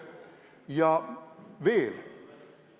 Ja veel.